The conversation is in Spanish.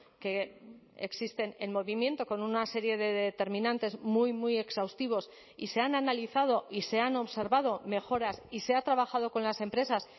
que existen en movimiento con una serie de determinantes muy muy exhaustivos y se han analizado y se han observado mejoras y se ha trabajado con las empresas